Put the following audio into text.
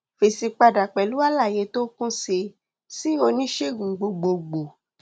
fèsì padà pẹlú àlàyé tó kún sí sí oníṣègùn gbogbogbò